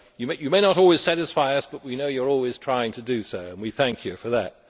You may not always satisfy us but we know you are always trying to do so and we thank you for that.